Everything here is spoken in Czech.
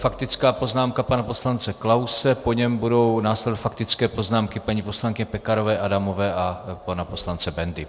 Faktická poznámka pana poslance Klause, po něm budou následovat faktické poznámky paní poslankyně Pekarové Adamové a pana poslance Bendy.